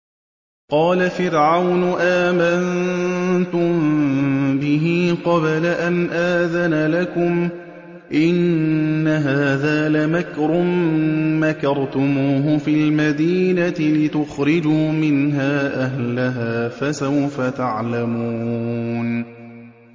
قَالَ فِرْعَوْنُ آمَنتُم بِهِ قَبْلَ أَنْ آذَنَ لَكُمْ ۖ إِنَّ هَٰذَا لَمَكْرٌ مَّكَرْتُمُوهُ فِي الْمَدِينَةِ لِتُخْرِجُوا مِنْهَا أَهْلَهَا ۖ فَسَوْفَ تَعْلَمُونَ